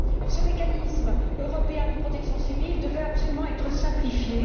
Ce mécanisme européen de protection civile devait absolument être simplifié